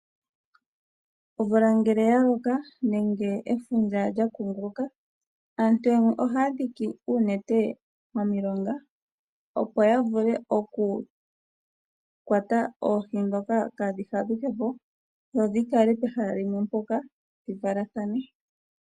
Omvula ngele ya loka nenge efundja lya kunguluka ,aantu yamwe ohaya dhiki oonete momilonga opo ya vule okukwata oohi ndhoka kaadhi fadhuke po dho dhi kale pehala limwe mpoka dhi valathane.